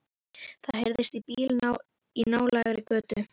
Það heyrist í bíl í nálægri götu.